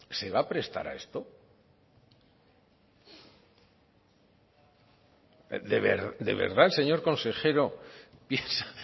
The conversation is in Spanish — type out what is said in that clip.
se va a prestar a esto de verdad el señor consejero piensa